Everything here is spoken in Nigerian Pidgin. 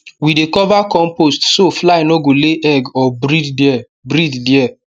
we dey cover compost so fly no go lay egg or breed there breed there